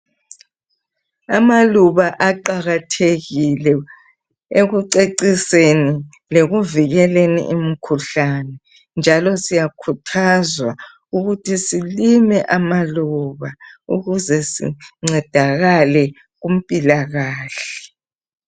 Amaluba aqakathekile ekuceciseni lekuvikeleni imikhuhlane njalo siyakhuthazwa ukuthi silime amaluba ukuze sincedakale kumpilakahle.